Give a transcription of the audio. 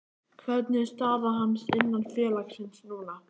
Hvernig er staða hans innan félagsins núna?